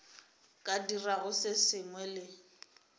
ka dirago se sengwe le